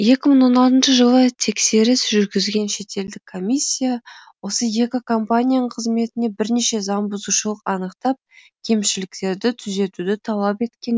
екі мың он алтыншы жылы тексеріс жүргізген шетелдік комиссия осы екі компанияның қызметінен бірнеше заң бұзушылық анықтап кемшіліктерді түзетуді талап еткен